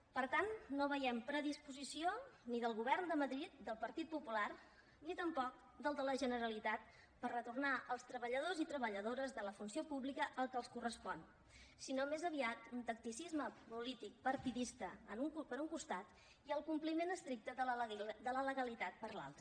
per tant no veiem predisposició ni del govern de madrid del partit popular ni tampoc del de la generalitat per retornar als treballadors i treballadores de la funció pública el que els correspon sinó més aviat un tacticisme polític partidista per un costat i el compliment estricte de la legalitat per l’altre